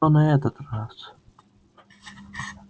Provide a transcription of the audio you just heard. то на этот раз